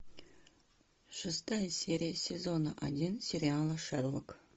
шестая серия сезона один сериала шерлок